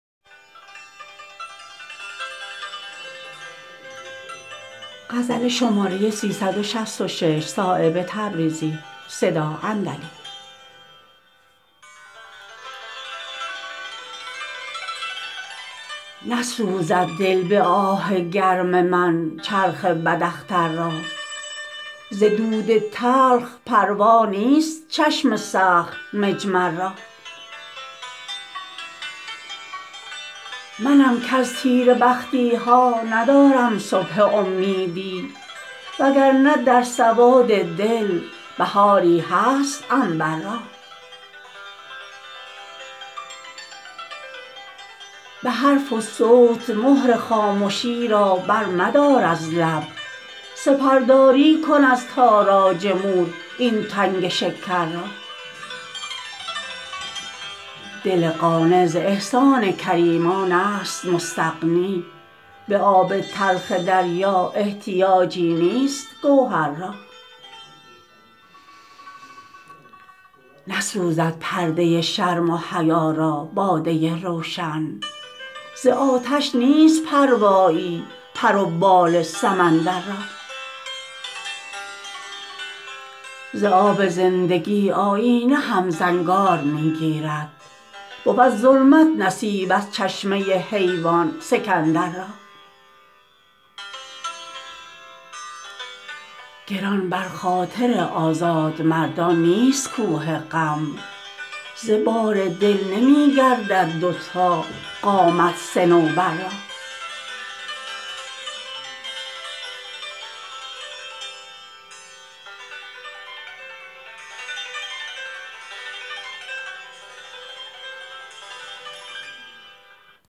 نسوزد دل به آه گرم من چرخ بد اختر را ز دود تلخ پروا نیست چشم سخت مجمر را منم کز تیره بختی ها ندارم صبح امیدی وگرنه در سواد دل بهاری هست عنبر را به حرف و صوت مهر خامشی را بر مدار از لب سپر داری کن از تاراج مور این تنگ شکر را دل قانع ز احسان کریمان است مستغنی به آب تلخ دریا احتیاجی نیست گوهر را نسوزد پرده شرم و حیا را باده روشن ز آتش نیست پروایی پر و بال سمندر را ز آب زندگی آیینه هم زنگار می گیرد بود ظلمت نصیب از چشمه حیوان سکندر را گران بر خاطر آزادمردان نیست کوه غم ز بار دل نمی گردد دو تا قامت صنوبر را